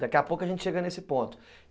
Daqui a pouco a gente chega nesse ponto.